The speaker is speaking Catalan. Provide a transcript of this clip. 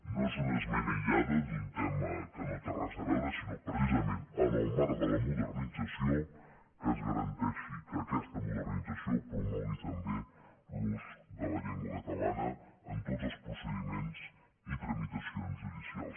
no és una esmena aïllada d’un tema que no hi té res a veure sinó precisament en el marc de la modernització que es garanteixi que aquesta modernització promogui també l’ús de la llengua catalana en tots els procediments i tramitacions judicials